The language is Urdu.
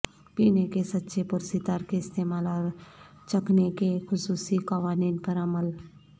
پینے کے سچے پرستار کے استعمال اور چکھنے کے خصوصی قوانین پر عمل